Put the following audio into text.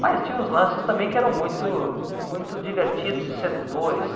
Mas tinha uns lances também que eram muito muito divertidos e sedutores.